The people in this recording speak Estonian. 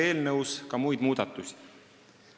Eelnõus tehakse ka muid muudatusi.